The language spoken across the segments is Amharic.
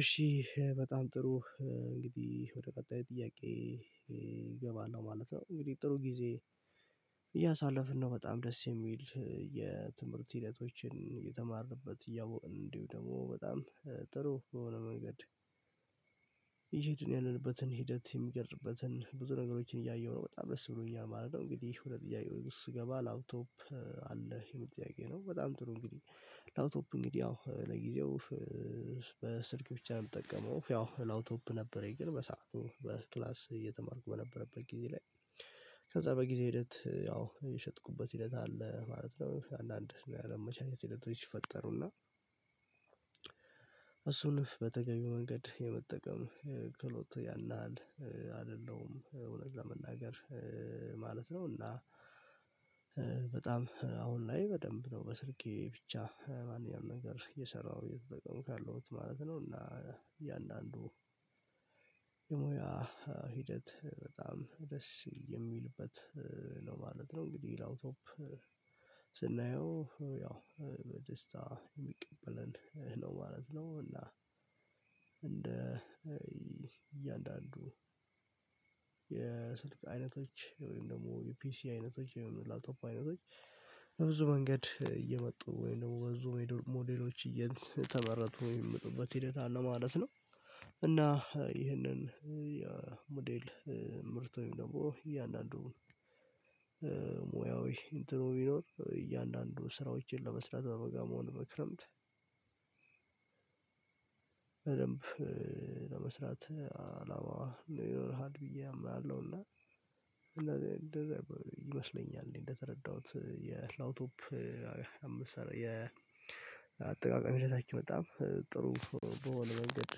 እሺ በጣም ጥሩ። እንግዲህ ወደ ቀጣይ ጥያቄ እገባለሁ ማለት ነው። እንግዲህ ጥሩ ጊዜ እያሳለፍን ነው በጣም ደስ የሚል የትምህርት ሂደቶችን እተማርንበት እያወቅን እንዲሁ ደግሞ በጣም ጥሩ በሆነ መንገድ እየሄድን ያለንበትን ሂደት የሚገልጽበትን ብዙ ነገሮችን እያየሁ ነው በጣም ደስ ብሎኛል ማለት ነው። እንግዲህ ወደ ጥያቄው ስገባ ላፕቶፕ አለህ የሚል ጥያቄ ነው? በጣም ጥሩ እንግዲህ ላፕቶፕ እንግዲህ ያው ለጊዜው በስልክ ብቻ ነው የምጠቀመው። ያው ላፕቶፕ ነበረኝ ግን በሰአቱ በክላስ እየተማርኩ በነበረበት ጊዜ ላይ ከዛ በጊዜ ሂደት ያው የሸጥኩበት ሂደት አለ ማለት ነው። አንዳንድ ያለመመቻቸት ሂደቶች ሲፈጠሩና እሱንም በተገኘው መንገድ የመጠቀም ክህሎት ያን ያህል አይደለሁም እውነት ለመናገር ማለት ነው። እና በጣም አሁን ላይ በደንብ ነው በስልኬ ብቻ ማንኛውም ነገር እየሰራሁ እየተጠቀምኩ ያለሁት ማለት ነው። እና እያንዳንዱ የሙያ ሂደት በጣም ደስ የሚልበት ነው ማለት ነው። እንግዲህ ላፕቶፕ ስናየው ያው ደስታ የሚቀበለን ነው ማለት ነው። እና እንደ እያንዳንዱ የስልክ አይነቶች ወይም ደግሞ የፒሲ አይነቶች የላፕቶፕ አይነቶች በብዙ መንገድ እየመጡ ወይም ደግሞ በብዙ ሞዴሎች እየተመረቱ የሚመጡበት ሂደት አለ ማለት ነው። እና ይህንን የሞዴል ምርት ወይም ደግሞ እያንዳንዱ ሙያዊ እንትኑ ቢኖር እያንዳንዱ ስራዎችን ለመስራት በበጋም ሆነ በክረምት በደንብ ለመስራት አላማ ይኖርሃል ብዬ አምናለሁ። እና እንደዚህ እንደዚህ ይመስለኛል እኔ እንደተረዳሁት የላፕቶፕ የአጠቃቀም ሁኔታችን በጣም ጥሩ በሆነ መንገድ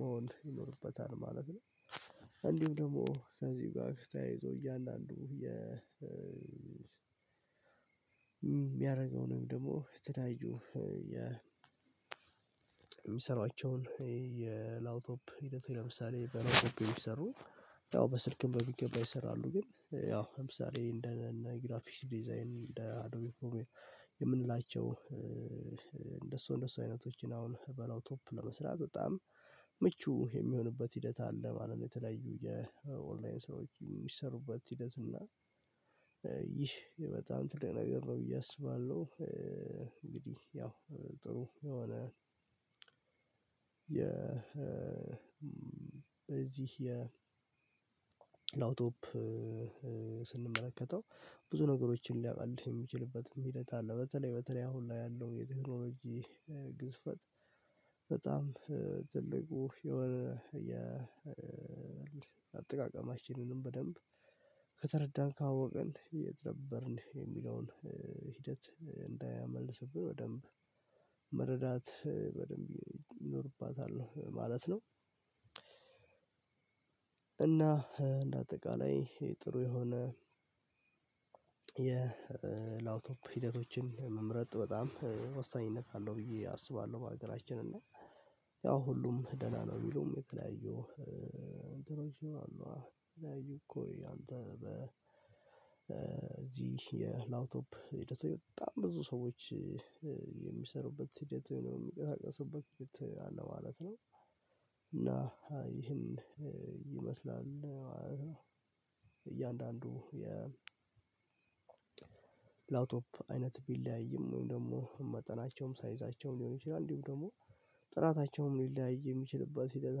መሆን ይኖርበታል ማለት ነው። እንዲሁም ደግሞ ከዚህ ጋር ተያይዞ አንዱ የ የሚያደርገው ነው ወይም ደግሞ የተለያዩ የሚሰሯቸውን የላፕቶፕ ሂደት ለምሳሌ በላፕቶፕ የሚሰሩ ያው በስልክም በሚገባ ይሰራሉ ግን ያው ለምሳሌ እንደ ግራፊክስ ዲዛይን እንደ አዶቤ ፕርሚየም የምንላቸው እንደሱ እንደሱ አይነቶችን አሁን በላፕቶፕ ለመስራት በጣም ምቹ የሚሆንበት ሂደት አለ ማለት ነው። የተለያዩ የኦንላይን ሰዎች የሚሰሩበት ሂደት እና ይህ በጣም ትልቅ ነገር ነው ብዬ አስባለሁ። እንግዲህ ያው ጥሩ የሆነ የ በዚህ የላፕቶፕ ስንመለከተው ብዙ ነገሮችን ሊያቃልል የሚችልበትም ሂደት አለ በተለይ በተለይ አሁን ላይ ያለው የቴክኖሎጂ ግዝፈት በጣም ትልቁ የወረ አጠቃቀማችንንም በደንብ ከተረዳን ካወቅን የት ነበርን የሚለውን ሂደት እንዳምመልስብን በደንብ መረዳት በደንብ ይኖርብናል ማለት ነው። እና እንደ አጠቃላይ ጥሩ የሆነ የላፕቶፕ ሂደቶችን መምረጥ በጣም ወሳኝነት አለው ብዬ አስባለሁ። በሀገራችን እና ያው ሁሉም ደህና ነው የሚለውም የተለያየው እንትኖች ይላሉ የተለያየው እኮ ያንተ በ በዚህ የላፕቶፕ ሂደት በጣም ብዙ ሰዎች የሚሰሩበት ሂደት የሚንቀሳቀሱበት ሂደት አለ ማለት ነው። እና ይህም ይመስላል እያንዳንዱ የ ላፕቶፕ አይነት ቢለያይም ወይም ደግሞ መጠናቸውም ሳይዛቸውም ሊሆን ይችላል እንዲሁም ደግሞ ጥራታቸውም ሊለያይ የሚችልበት ሂደት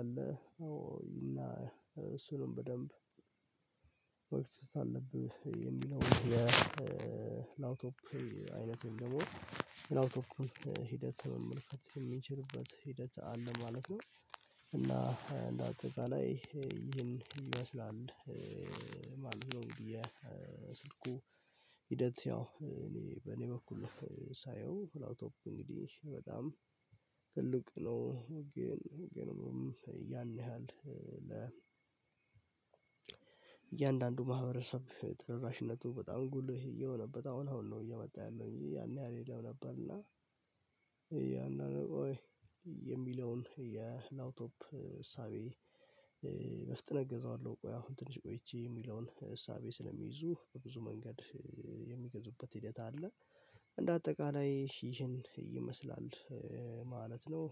አለ። እና እሱንም በደንብ መግዛት አለብህ የሚለውን የላውቶፕ አይነት ደግሞ የላፕቶፑን ሂደት መመልከት የምንችልበት ሂደት አለ ማለት ነው። እና እንደ አጠቃላይ ይሄን ይመስላል ማለት ነው። ብዬ አሰብኩ ኩ ሂደት ያው እኔ በእኔ በኩል ሳየው ላፕቶፑ እንግዲህ በጣም ትልቅ ነው ግን ግንኙነት ያን ያህል ለ እያንዳንዱ ማህበረሰብ ተደራሽነቱ በጣም ጉልህ እየሆነበት አሁን አሁን ነው እየመጣ ያለው እንጂ ያን ያህል ዬለም ነበር እና። ያንን ወይ የሚለውን የላፕቶፕ እሳቤ በፍጥነት ገዘዋለሁ ቆይ አሁን ትንሽ ቆይቼ የሚለውን እሳቤ ስለሚይዙ በብዙ መንገድ የሚገዙበት ሂደት አለ። እንደ አጠቃላይ ይህን ይመስላል ማለት ነው